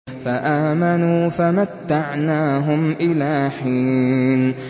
فَآمَنُوا فَمَتَّعْنَاهُمْ إِلَىٰ حِينٍ